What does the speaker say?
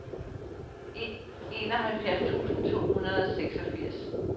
enoghalvfjerds tusind to hundrede og seksogfirs